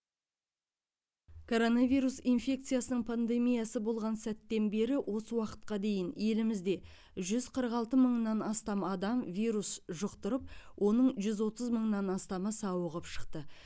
коронавирус инфекциясының пандемиясы басталған сәттен бері осы уақытқа дейін елімізде жүз қырық алты мыңнан астам адам вирус жұқтырып оның жүз отыз мыңнан астамы сауығып шықты